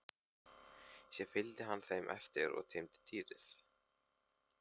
Síðan fylgdi hann þeim eftir og teymdi dýrið.